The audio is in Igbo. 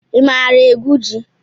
I maara egwu ji?